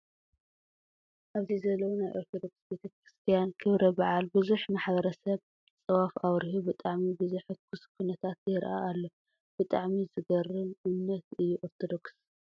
ኣብዚ ዘለው ናይ ኦርተቶዶክ ቤተ-ክርስትያን ክብረ በዓል ብዙሕ ማሕበረ-ሰብ ፅዋፍ ኣብሪሁ ብጣዕሚ ብዘሕኩስ ኩነታት የርኣ ኣሎ። ብጣዕሚ ዝገርም! እምነት እዩ ኦርቶዶክስ።